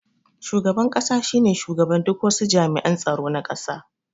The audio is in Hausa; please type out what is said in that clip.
Shugaban ƙasa shine shugaban duk wasu jami'an tsaro na ƙasa